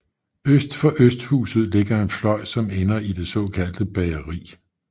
Øst for Østhuset ligger en fløj som ender i det såkaldte Bageri